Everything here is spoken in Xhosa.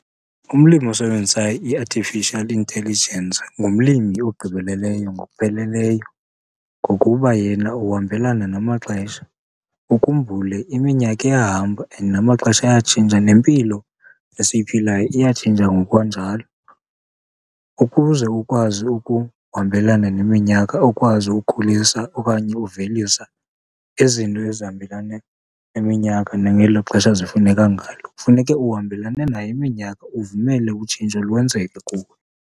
Umlimi osebenzisa i-artificial intelligence ngumlimi ogqibeleleyo ngokupheleleyo, ngokuba yena uhambelana namaxesha. Ukhumbule iminyaka iyahamba and namaxesha ayatshintsha nempilo esiyiphilayo iyatshintsha ngokwanjalo. Ukuze ukwazi ukuhambelana neminyaka, ukwazi ukhulisa okanye ukuvelisa izinto ezihambelana neminyaka nangelo xesha zifuneka ngalo, kufuneke uhambelane nayo iminyaka, uvumele utshintsho lwenzeke kuwe.